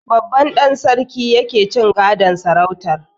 Babban ɗan sarki yake cin gadon sarautar.